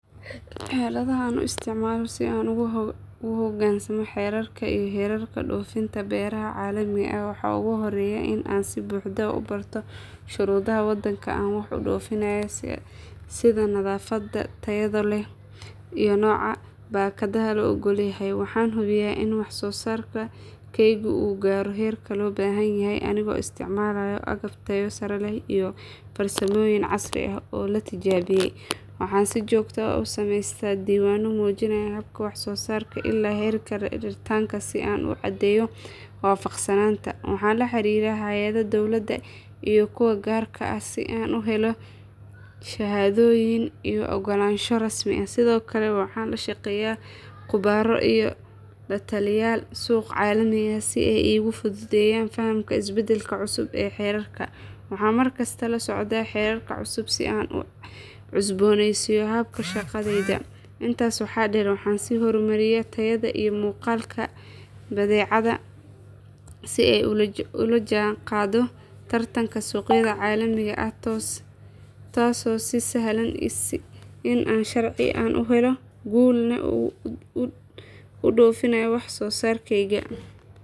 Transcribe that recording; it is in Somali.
Xeeladaha aan isticmaalo si aan ugu hoggaansamo xeerarka iyo heerarka dhoofinta beeraha caalamiga ah waxaa ugu horreeya in aan si buuxda u barto shuruudaha waddanka aan wax u dhoofinayo sida nadaafadda, tayada iyo nooca baakadaha la oggol yahay. Waxaan hubiyaa in wax soo saarkaygu uu gaaro heerka loo baahan yahay anigoo isticmaalaya agab tayo sare leh iyo farsamooyin casri ah oo la tijaabiyay. Waxaan si joogto ah u samaystaa diiwaanno muujinaya habka wax soo saarka ilaa heerka raritaanka si aan u caddeeyo waafaqsanaanta. Waxaan la xiriiraa hay’adaha dawladda iyo kuwa gaarka ah si aan u helo shahaadooyin iyo oggolaansho rasmi ah. Sidoo kale waxaan la shaqeeyaa khubaro iyo la taliyeyaal suuq caalami ah si ay iigu fududeeyaan fahamka isbeddellada cusub ee xeerarka. Waxaan mar kasta la socdaa xeerarka cusub si aan u cusboonaysiiyo habka shaqadayda. Intaas waxaa dheer waxaan sii horumariyaa tayada iyo muuqaalka badeecada si ay ula jaanqaado tartanka suuqyada caalamiga ah taasoo ii sahlaysa in aan si sharci ah una guul leh ugu dhoofiyo wax soo saarkayga.